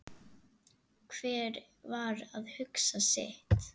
Hver var að hugsa sitt.